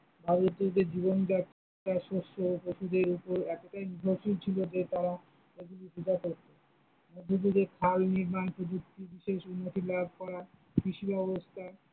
ভারতীয়দের জীবনযাত্রা শস্য ও পশুদের উপর এতটাই নির্ভরশীল ছিল যে তারা এগুলির পূজা করতো, মধ্যযুগে খাল নির্মাণ প্রযুক্তি বিশেষ উন্নতি লাভ করায় কৃষি ব্যবস্থা।